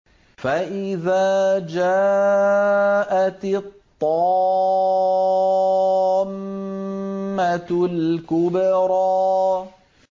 فَإِذَا جَاءَتِ الطَّامَّةُ الْكُبْرَىٰ